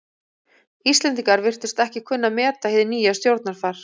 Íslendingar virtust ekki kunna að meta hið nýja stjórnarfar.